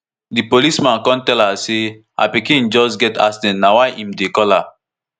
di policeman kon tell her say her pikin just get accident na why im dey call her